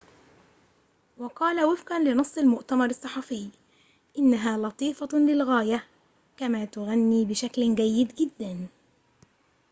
وقال وفقًا لنص المؤتمر الصحفي إنها لطيفة للغاية كما تغني بشكل جيد جدًا